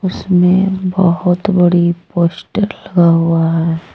इसमें बहुत बड़ी पोस्टर लगा हुआ है।